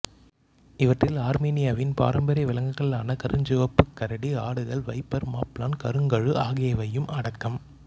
இவற்றில் ஆர்மீனியாவின் பாரம்பரிய விலங்குகளான கருஞ்சிவப்புக் கரடி ஆடுகள் வைப்பர் மஃப்லான் கருங்கழு ஆகியவையும் அடக்கம்